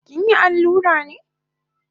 Kinyi allura ne?